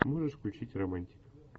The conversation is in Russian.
можешь включить романтику